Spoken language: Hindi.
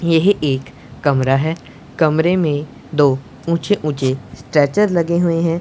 यह एक कमरा है कमरे में दो ऊंचे ऊंचे स्ट्रेचर लगे हुए हैं।